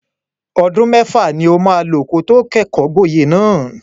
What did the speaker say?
Ọdún mẹ́fà ni o maa lò kí o tó kẹ́kọ̀ọ́-gboyè náà.